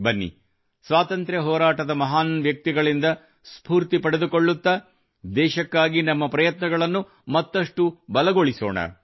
ಬನ್ನಿ ಸ್ವಾತಂತ್ರ್ಯ ಹೋರಾಟದ ಮಹಾನ್ ವ್ಯಕ್ತಿಗಳಿಂದ ಸ್ಫೂರ್ತಿ ಪಡೆದುಕೊಳ್ಳುತ್ತಾ ದೇಶಕ್ಕಾಗಿ ನಮ್ಮ ಪ್ರಯತ್ನಗಳನ್ನು ಮತ್ತಷ್ಟು ಬಲಗೊಳಿಸೋಣ